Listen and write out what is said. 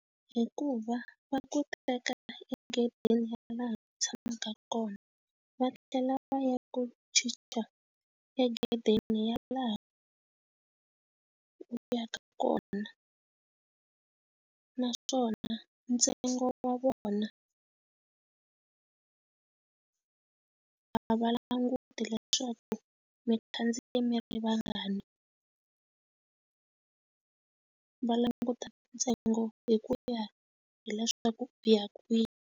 Hikuva va ku teka egedeni ya laha u tshamaka kona va tlhela va ya ku chicha egedeni ya laha va yaka kona naswona ntsengo wa vona a va languti leswaku mi khandziye mi ri vangani va languta ntsengo hi ku ya hileswaku u ya kwihi.